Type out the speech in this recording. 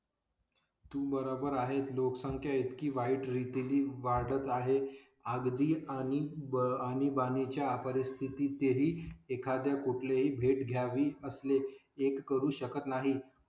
तू बरोबर आहे. लोकसंख्या इतकी वाईट रीतीने वाढत आहे. अगदी आणि आणीबाणी च्या परिस्थितीत ही एखाद्या कुठले ही भेट घ्यावी, असले एक करू शकत नाही.